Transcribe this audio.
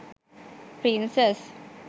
princess